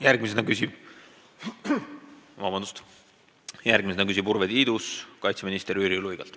Järgmisena küsib Urve Tiidus kaitseminister Jüri Luigelt.